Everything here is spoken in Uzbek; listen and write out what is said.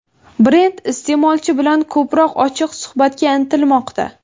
Brend iste’molchi bilan ko‘proq ochiq suhbatga intilmoqda.